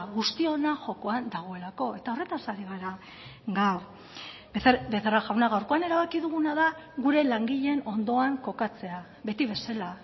guztiona jokoan dagoelako eta horretaz ari gara gaur becerra jauna gaurkoan erabaki duguna da gure langileen ondoan kokatzea beti bezala